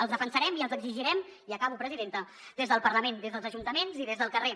els defensarem i els exigirem i acabo presidenta des del parlament des dels ajuntaments i des del carrer